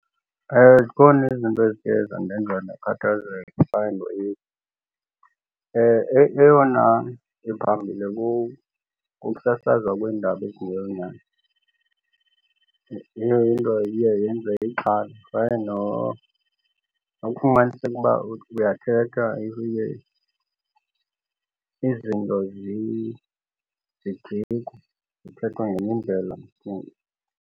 Zikhona izinto ezive zandenza ndakhathazeke . Eyona ephambili kukusasazwa kweendaba ezingeyonyani. Leyo into iye yenze ixhala kwaye nokufumaniseke uba uthi uyathetha izinto zijikwe zithethwe ngenye indlela embi.